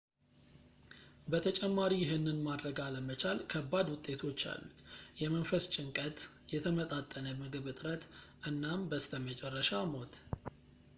በተጨማሪ ይህንን ማድረግ አለመቻል ከባድ ውጤቶች አሉት የመንፈስ ጭንቀት የተመጣጠነ ምግብ እጥረት እናም በስተመጨረሻ ሞት